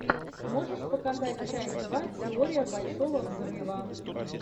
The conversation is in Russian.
можешь показать часть два теория большого взрыва